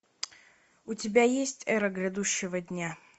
у тебя есть эра грядущего дня